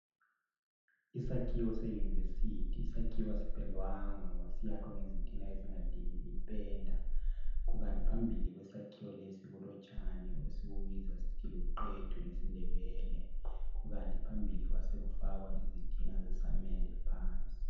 Isakhiwo seYunivesithi sakhiwe asipendwanga ngoba siyakhwe ezingadingi penda kukanti phambili kwesakhiwo lesi kulotshani esibubiza ngokuthi luqethu kukanti phambili kwase kufakwa izitina ezingadingi samende.